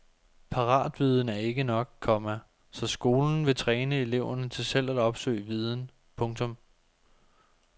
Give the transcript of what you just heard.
Paratviden er ikke nok, komma så skolen vil træne eleverne til selv at opsøge viden. punktum